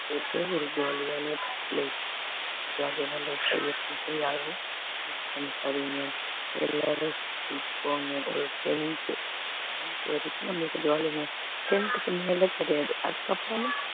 ஒரு jolly யான lifejolly யான life யாரும் waste பண்ணிக்காதீங்க எல்லாரும் school க்கு போங்க ஒரு tenth tenth வரைக்கும் நம்மளுக்கு jolly ங்க tenth க்கு மேல கிடையாது அதுக்கப்புறம்